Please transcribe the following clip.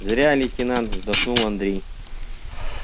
зря лейтенант вдохнул андрей